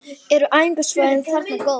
Eru æfingasvæðin þarna góð?